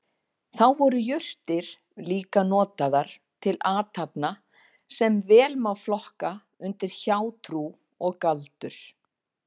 Þá voru jurtir líka notaðar til athafna sem vel má flokka undir hjátrú og galdur.